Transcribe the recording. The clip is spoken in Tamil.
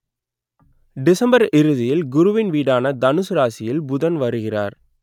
டிசம்பர் இறுதியில் குருவின் வீடான தனுசு ராசியில் புதன் வருவார்